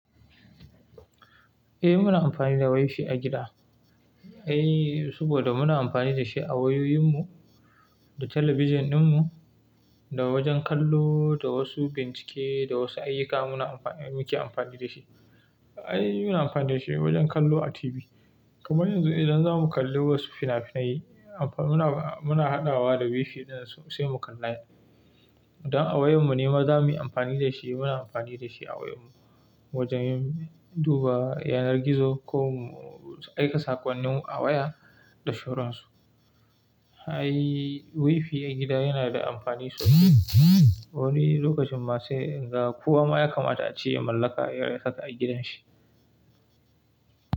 Eh muna amfani da wifi a gida, eh saboda muna amfani da shi a wayoyin mu, da talabijin ɗin mu, da wajen kallo, da wasu bincike, da wasu ayyuka muna amfani muke amfani da shi. Ai muna amfani da shi wajen kallo a TV, kamar yanzu idan za mu kalli wasu fina-finai amfa-- muna, muna haɗawa da wifi ɗin sai mu kalla. Don a wayar mu nema za muyi amfani da shi muna amfani da shi a wayar mu wajen duba yanar gizo ko mu aika saƙonnin a waya da sauran su. Ai wifi a gida yana da amfani sosai. Wani lokacin ma sai ga kuwa ma ya kamata a ciya mallaka yarinsa a gidan shi.